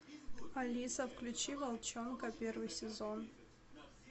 алиса включи волчонка первый сезон